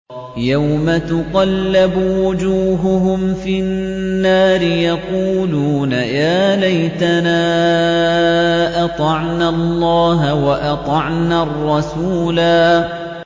يَوْمَ تُقَلَّبُ وُجُوهُهُمْ فِي النَّارِ يَقُولُونَ يَا لَيْتَنَا أَطَعْنَا اللَّهَ وَأَطَعْنَا الرَّسُولَا